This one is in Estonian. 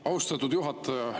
Austatud juhataja!